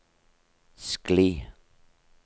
skli